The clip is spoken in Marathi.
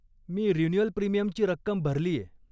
मी रिन्युअल प्रिमियमची रक्कम भरलीय.